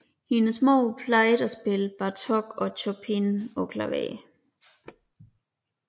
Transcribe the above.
Hendes mor plejede at spille Bartók og Chopin på klaver